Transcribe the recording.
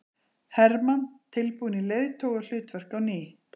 Hermann tilbúinn í leiðtogahlutverk á ný